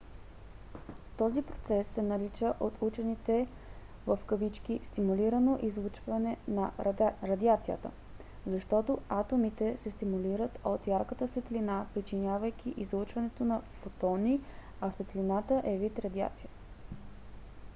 този процес се нарича от учените стимулирано излъчване на радиация защото атомите се стимулират от ярката светлина причинявайки излъчването на фотони а светлината е вид радиация